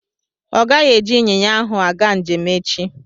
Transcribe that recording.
Ọ gaghị eji ịnyịnya ahụ aga njem echi.